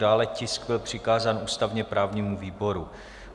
Dále tisk byl přikázán ústavně-právnímu výboru.